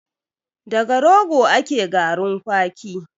Daga rogo ake garin kwaki